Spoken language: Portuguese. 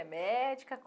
É médica?